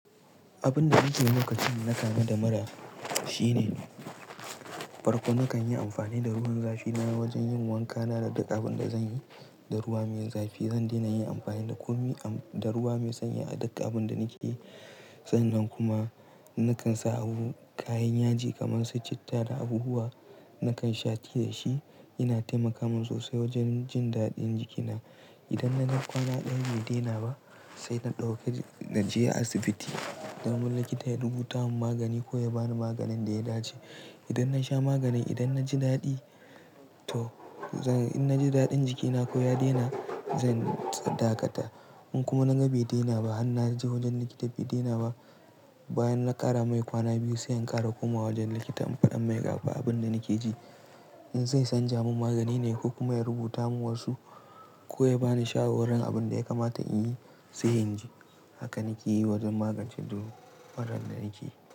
Abin da nake lokacin na kama da mura shine, farko nakan yi amfani da ruwan zafi na wajen yin wanka na da duk abin da zan yi da ruwa mai zafi. Zan daina yin amfani da komi am-- da ruwa mai sanyi a duk abin da nake yi. Sai nan kuma, nakan sa abu, kayan yaji kamar su citta da abubuwa. Nakan sha tea shi yana taimaka min sosai wajen jin daɗin jikina. Idan na ga kwana ɗaya bai daina ba, sai na ɗauki-- na je asibiti. Zan bar likita ya rubuta mun magani ko ya ba ni maganin da ya dace. Idan na sha maganin, idan na ji daɗi to, zan-- in na ji daɗin jikina ko ya daina, zan dakata. In kuma na ga bai daina ba har na je wajen likita bai daina ba, bayan na ƙara mai kwana biyu sai in ƙara komawa wajen likita in faɗa mai ga ba abin da nake ji. In zai san ja mun magani ne ko kuma ya rubuta mun wasu ko ya ba ni shawarar abin da ya kamata in yi sai in ji. Haka nake yi wajen magance duh-- murar da nake yi.